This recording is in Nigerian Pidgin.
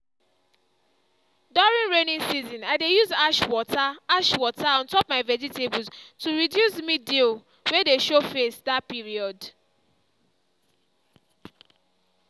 during rainy season i dey use ash water ash water on top my vegetables to reduce mildew wey dey show face that period.